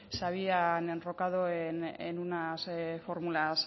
pues se habían enrocado en unas fórmulas